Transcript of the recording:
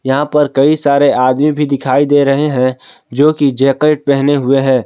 यहां पर कई सारे आदमी भी दिखाई दे रहे हैं जो कि जैकेट पहने हुए हैं।